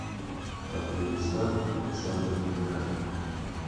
афганистан александр мираж